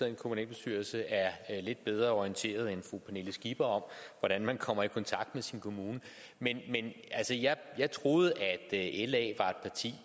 en kommunalbestyrelse er lidt bedre orienteret end fru pernille skipper om hvordan man kommer i kontakt med sin kommune men jeg troede at